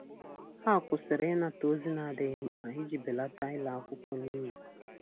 Ha kwụsịrị ịnata ozi ndị n'adighi mkpa iji belata ịla akwụkwọ n'iyi